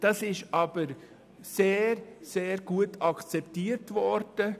Das ist aber sehr gut akzeptiert worden.